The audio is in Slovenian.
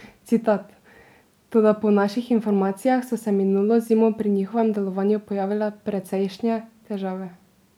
Citat: 'Toda po naših informacijah so se minulo zimo pri njihovem delovanju pojavljale precejšnje težave.